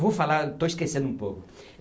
Vou falar, estou esquecendo um pouco.